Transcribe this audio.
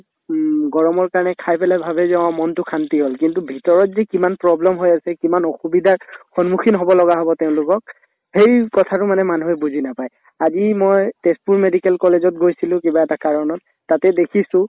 উম গৰমৰ কাৰণে খাই পেলাই ভাবে যে অ মনতো শান্তি হল কিন্তু ভিতৰত যি কিমান problem হৈ আছে কিমান অসুবিধাৰ সন্মুখীন হব লগা হব তেওঁলোকক সেই কথাটো মানে মানুহে বুজি নাপাই আজি মই তেজপুৰ medical college ত গৈছিলো কিবা এটা কাৰণত তাতে দেখিছো